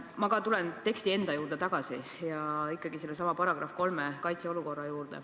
Ma tulen teksti enda juurde tagasi: ikkagi seesama § 3 "Kaitseolukord".